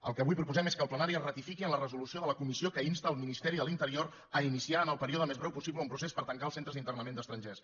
el que avui proposem és que el plenari es ratifiqui en la resolució de la comissió que insta el ministeri de l’interior a iniciar en el període més breu possible un procés per tancar els centres d’internament d’estrangers